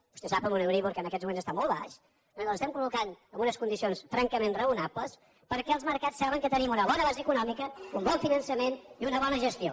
vostè sap amb un euríbor que en aquests moments està mol baix nosaltres ens estem col·locant amb unes condicions francament raonables perquè els mercats saben que tenim una bona base econòmica un bon finançament i una bona gestió